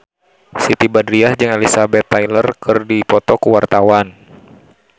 Siti Badriah jeung Elizabeth Taylor keur dipoto ku wartawan